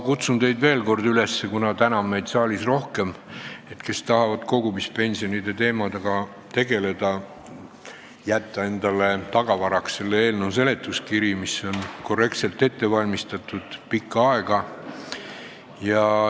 Kuna täna on meid saalis rohkem, siis ma kutsun veel kord üles, et need, kas tahavad kogumispensionide teemaga tegeleda, jätaks endale tagavaraks selle eelnõu seletuskirja, mis on korrektselt ette valmistatud ja mida tehti pikka aega.